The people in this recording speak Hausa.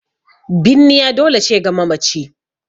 Binniya dole ce ga mamaci